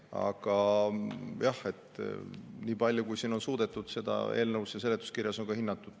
Aga jah, nii palju kui on suudetud, on seda siin eelnõus ja seletuskirjas ka hinnatud.